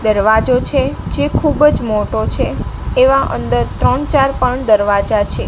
દરવાજો છે જે ખુબજ મોટો છે એવા અંદર ત્રણ ચાર પણ દરવાજા છે.